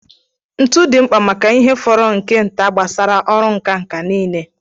Ntu dị mkpa maka ihe fọrọ nke nta gbasara ọrụ nka nka niile